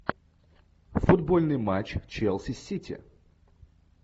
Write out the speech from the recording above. футбольный матч челси сити